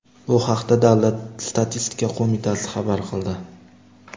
Bu haqda davlat statistika qo‘mitasi xabar qildi .